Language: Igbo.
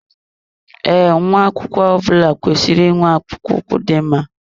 Ee, nwa akwụkwọ ọbula kwesịrị ị nwe akpụkpọ ụkwụ dị mma